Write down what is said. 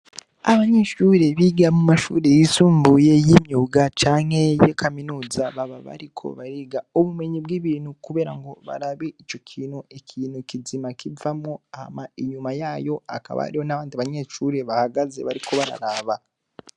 Abanyeshure biga mu mashure yisumbuye y'imyuga canke ya kaminuza baba bariko bariga ubumenyi bw'ibintu kubera ngo barabe ico kintu, ikintu kizima kivamwo hama inyuma yayo hakaba hariho n'abandi banyeshure bahagaze, bariko bararaba.